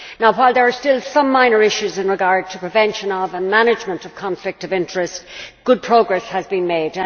While there are still some minor issues with regard to prevention and management of conflicts of interest, good progress has been made.